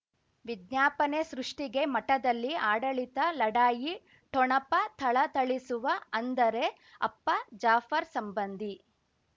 ವಿಜ್ಞಾಪನೆ ಸೃಷ್ಟಿಗೆ ಮಠದಲ್ಲಿ ಆಡಳಿತ ಲಢಾಯಿ ಠೊಣಪ ಥಳಥಳಿಸುವ ಅಂದರೆ ಅಪ್ಪ ಜಾಫರ್ ಸಂಬಂಧಿ